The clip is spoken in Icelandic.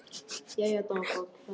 Og hún kemur okkur endalaust á óvart.